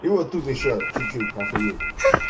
и вот тут ещё чуть-чуть охуеть